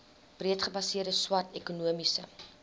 breedgebaseerde swart ekonomiese